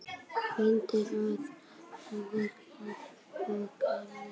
Mynd af hvalháfi og kafara.